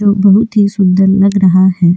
जो बहुत ही सुंदर लग रहा है।